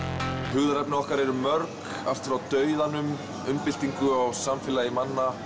hugðarefni okkar eru mörg allt frá dauðanum umbyltingu á samfélagi manna